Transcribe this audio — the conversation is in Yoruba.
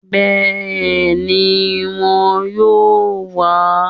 Béèni won yóò wá